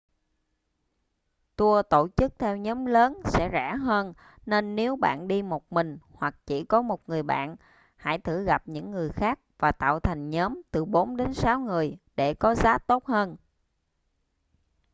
tour tổ chức theo nhóm lớn sẽ rẻ hơn nên nếu bạn đi một mình hoặc chỉ có một người bạn hãy thử gặp những người khác và tạo thành nhóm từ bốn đến sáu người để có giá tốt hơn